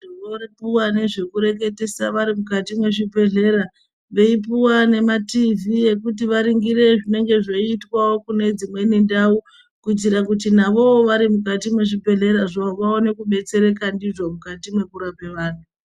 Tinopuwa nezvekureketesa vari mukati mwezvibhedhlera veipuwa ngematiivhii ekuti vaningire zvinenge zveiitwawo kune dzimweni ndau kuitira kuti navowo vari mukati mwezvibhedhlerazvo vaone zvekubetsereka ndizvo mukati mwekurape vantu.